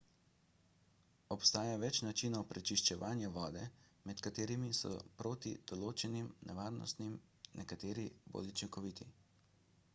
obstaja več načinov prečiščevanja vode med katerimi so proti določenim nevarnostim nekateri bolj učinkoviti